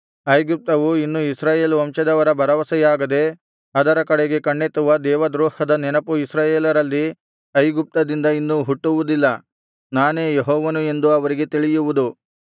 ಐಗುಪ್ತವು ಇನ್ನು ಇಸ್ರಾಯೇಲ್ ವಂಶದವರ ಭರವಸೆಯಾಗದೆ ಅದರ ಕಡೆಗೆ ಕಣ್ಣೆತ್ತುವ ದೇವದ್ರೋಹದ ನೆನಪು ಇಸ್ರಾಯೇಲರಲ್ಲಿ ಐಗುಪ್ತದಿಂದ ಇನ್ನು ಹುಟ್ಟುವುದಿಲ್ಲ ನಾನೇ ಯೆಹೋವನು ಎಂದು ಅವರಿಗೆ ತಿಳಿಯುವುದು